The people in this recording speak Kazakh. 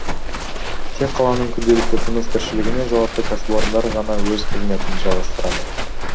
тек қаланың күнделікті тыныс тіршілігіне жауапты кәсіпорындар ғана өз қызметін жалғастырады